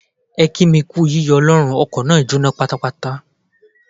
Ẹ kí mi kú yíyọ Ọlọ́run, ọkọ̀ náà jóná pátápátá.